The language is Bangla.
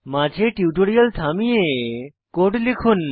মাঝে টিউটোরিয়াল থামিয়ে কোড লিখুন